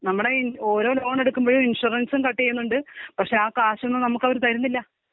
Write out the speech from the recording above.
നമ്മുടെ ഇൻ ഓരോ ലോൺ എടുക്കുമ്പോഴും ഇൻഷുറൻസും കട്ടീയുന്നുണ്ട് പക്ഷെ ആ കാശൊന്നും നമുക്ക് അവര് തരുന്നില്ല.